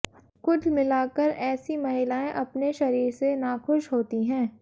कुल मिलाकर ऐसी महिलाएं अपने शरीर से नाखुश होती हैं